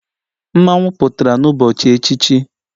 Mmanwu pụtara n'ụbọchị echichi,.